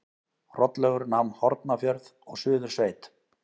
Hrollaugur nam Hornafjörð og Suðursveit.